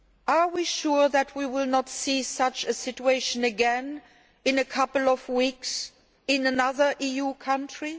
Are we sure that we will not see such a situation again in a couple of weeks in another EU country?